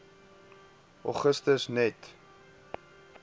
augustus net